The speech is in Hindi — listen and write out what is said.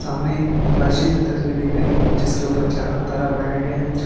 सामने एक मस्जिद की तस्वीर दिख रही है जिसके ऊपर चारो तारा बनाया गया है।